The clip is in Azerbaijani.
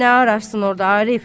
Nə ararsan orda, Arif?